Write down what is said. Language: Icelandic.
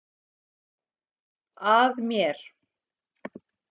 Að mér.